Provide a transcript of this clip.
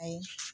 Awɔ